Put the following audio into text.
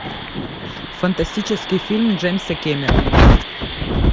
фантастический фильм джеймса кэмерона